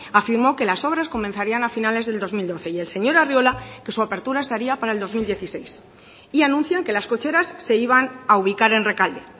afirmó que las obras comenzarían a finales del dos mil doce y el señor arriola que su apertura estaría para el dos mil dieciséis y anuncian que las cocheras se iban a ubicar en rekalde